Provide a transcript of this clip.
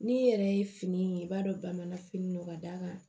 N'i yɛrɛ ye fini ye i b'a dɔn bamananfini don ka d'a kan